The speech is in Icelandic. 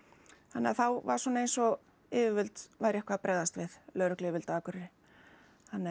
þannig að þá var svona eins og yfirvöld væru eitthvað að bregðast við lögregluyfirvöld á Akureyri þannig